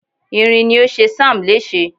irin ni o ṣe sam lese